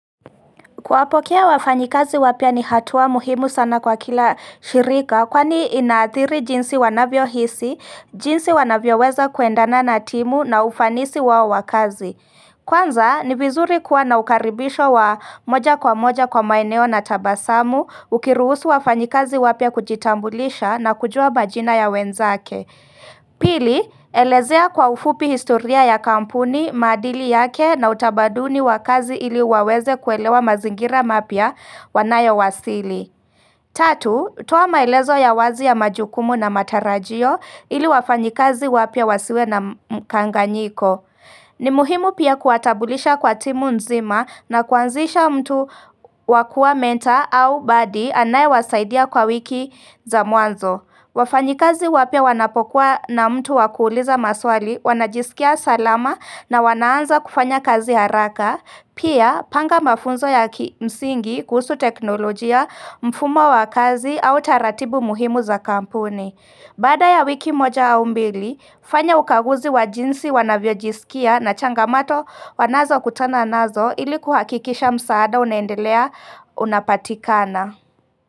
Kuwapokea wafanyi kazi wapya ni hatua muhimu sana kwa kila shirika kwani ina athiri jinsi wanavyo hisi, jinsi wanavyo weza kuendana na timu na ufanisi wao wakazi. Kwanza, ni vizuri kuwa na ukaribisho wa moja kwa moja kwa maeneo na tabasamu, ukiruhusu wafanyikazi wapya kujitambulisha na kujua ba jina ya wenzake. Pili, elezea kwa ufupi historia ya kampuni, madili yake na utabaduni wa kazi ili waweze kuelewa mazingira mapya wanayo wasili Tatu, toa maelezo ya wazi ya majukumu na matarajio ili wafanyikazi wapya wasiwe na mkanganyiko ni muhimu pia kuwatabulisha kwa timu nzima na kuanzisha mtu wakua menta au badi anaye wasaidia kwa wiki za muanzo wafanyi kazi wapya wanapokuwa na mtu wa kuuliza maswali wanajisikia salama na wanaanza kufanya kazi haraka, pia panga mafunzo ya kimsingi kuhusu teknolojia mfumo wa kazi au taratibu muhimu za kampuni. Baada ya wiki moja au mbili, fanya ukaguzi wa jinsi wanavyo jisikia na changamato wanazo kutana nazo ili kuhakikisha msaada unaendelea unapatikana.